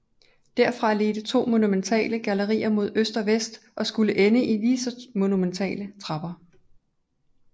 Derfra ledte to monumentale gallerier mod øst og vest og skulle ende i lige så monumentale trapper